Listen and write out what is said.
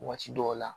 Waati dɔw la